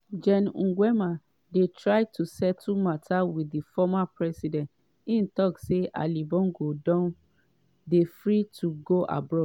gen nguema dey try to settle mata wit di former president im tok say ali bongo dey free to go abroad.